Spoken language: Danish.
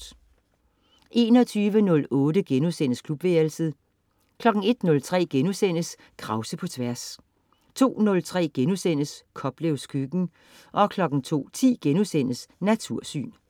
21.08 Klubværelset* 01.03 Krause på Tværs* 02.03 Koplevs Køkken* 02.10 Natursyn*